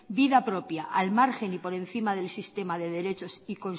vida propia al margen y por encima del sistema de derechos